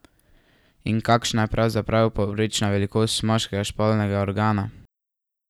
In kakšna je pravzaprav povprečna velikost moškega spolnega organa?